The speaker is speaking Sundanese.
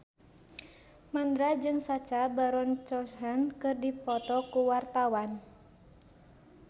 Mandra jeung Sacha Baron Cohen keur dipoto ku wartawan